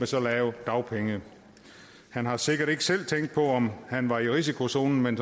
så lave dagpenge han har sikkert ikke selv tænkt på om han var i risikozonen men